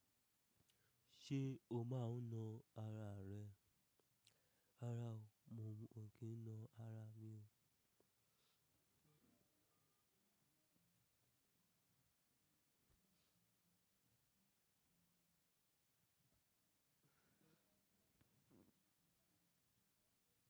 Ṣé o máa ń na ara rẹ? Rárá o, mo ò kí ń na ara mi o.